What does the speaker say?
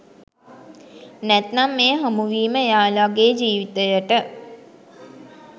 නැත්නම් මේ හමුවීම එයාලගේ ජීවිතයට